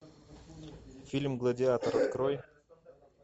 фильм гладиатор открой